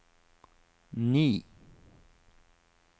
ni